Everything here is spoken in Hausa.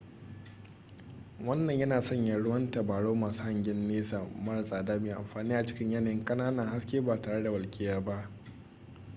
wannan yana sanya ruwan tabarau masu hangyen nesa mara tsada mai amfani a cikin yanayin ƙananan haske ba tare da walƙiya ba